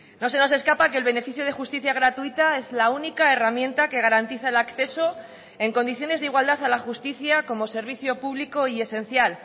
no se nos escapa que el beneficio de justicia gratuita es la única herramienta que garantiza el acceso en condiciones de igualdad a la justicia como servicio público y esencial